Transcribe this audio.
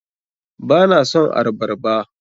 Ba na son arbarba.